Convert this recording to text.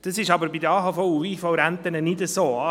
Das ist aber bei den AHV- und IV-Renten nicht so.